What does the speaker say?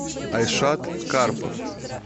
айшат карпов